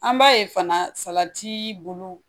An b'a ye fana salati bulu